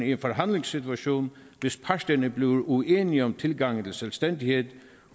en forhandlingssituation hvis parterne bliver uenige om tilgangen til selvstændighed